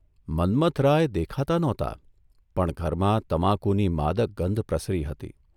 મન્મથરાય દેખાતા નહોતા પણ ઘરમાં તમાકુની માદક ગંધ પ્રસરી હતી.